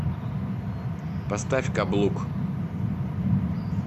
поставь каблук